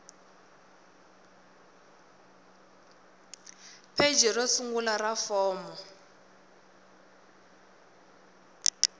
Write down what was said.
pheji ro sungula ra fomo